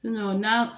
n'a